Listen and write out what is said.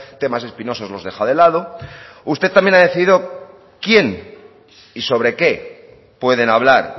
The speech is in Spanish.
temas espinosos los deja de lado usted también ha decidido quién y sobre qué pueden hablar